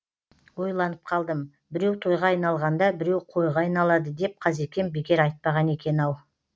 ойланып қалдым біреу тойға айналғанда біреу қойға айналады деп қазекем бекер айтпаған екен ау